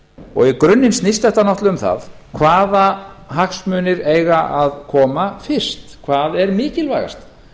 og í grunninn snýst þetta náttúrlega um það hvaða hagsmunir eiga að koma fyrst hvað er mikilvægast